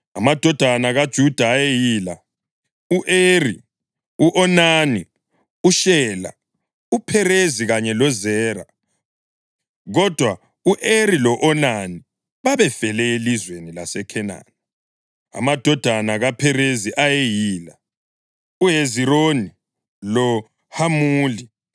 Amadodana kaJuda ayeyila: u-Eri, u-Onani, uShela, uPherezi kanye loZera (kodwa u-Eri lo-Onani babefele elizweni laseKhenani). Amadodana kaPherezi ayeyila: uHezironi loHamuli.